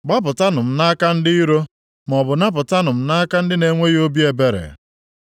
gbapụtanụ m nʼaka ndị iro, maọbụ napụtanụ m nʼaka ndị na-enweghị obi ebere’?